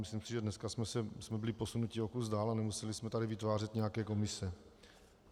Myslím si, že dneska jsme byli posunuti o kus dál a nemuseli jsme tady vytvářet nějaké komise.